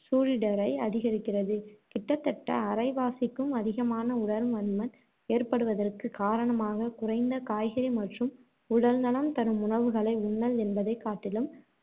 சூழிடரை அதிகரிக்கிறது கிட்டத்தட்ட அரைவாசிக்கும் அதிகமான உடற்பருமன் ஏற்படுவதற்குக் காரணமாக குறைந்த காய்கறி மற்றும் உடல்நலம் தரும் உணவுகளை உண்ணல் என்பதைக் காட்டிலும்,